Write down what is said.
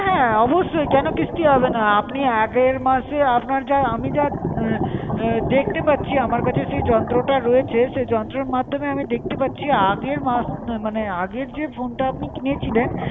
হ্যাঁ অবশ্যই! কেন কিস্তি হবে না? আপনি আগের মাসে, আপনার যাহ আমি যাহ দেখতে পাচ্ছি, আমার কাছে সই যন্ত্রটা রয়েছে, সে যন্ত্রের মাধুমে আমি দেখতে পাচ্ছি, আগের মাস মানে আগের যে ফোন টা আপনি কিনেছিলেন,